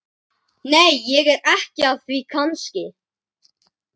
Nei, ég er ekki að því kannski.